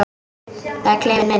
Það er klefinn minn.